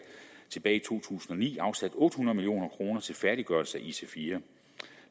tilbage i to tusind og ni afsat otte hundrede million kroner til færdiggørelse af ic4